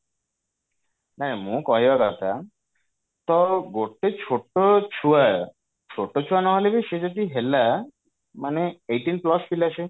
ନାଇଁ ମୁଁ କହିବାର କଥା ତ ଗୋଟେ ଛୋଟ ଛୁଆ ଛୋଟ ଛୁଆ ନହେଲେ ବି ସିଏ ଯଦି ହେଲା ମାନେ eighteen plus ପିଲା ସେ